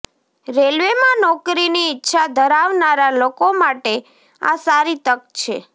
રેલવેમાં નોકરીની ઈચ્છા ધરાવનારા લોકો માટે આ સારી તક છે